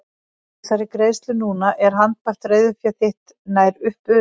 Með þessari greiðslu núna er handbært reiðufé þitt nær upp urið.